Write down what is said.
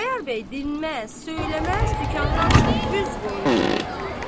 Xudayar bəy dinməz, söyləməz dükandan çıxıb üz qoydu getməyə.